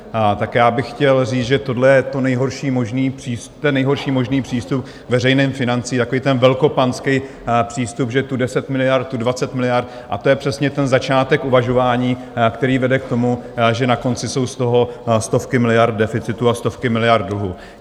Tak já bych chtěl říct, že tohle je ten nejhorší možný přístup k veřejným financím, takový ten velkopanský přístup, že tu 10 miliard, tu 20 miliard, a to je přesně ten začátek uvažování, který vede k tomu, že na konci jsou z toho stovky miliard deficitu a stovky miliard dluhů.